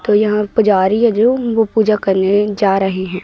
तो यहां पुजारी है जो वो पूजा करने जा रहे हैं।